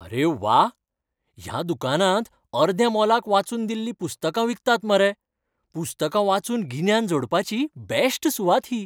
अरे व्वा! ह्या दुकानांत अर्द्या मोलाक वाचून दिल्लीं पुस्तकां विकतात मरे. पुस्तकां वाचून गिन्यान जोडपाची बॅश्ट सुवात ही.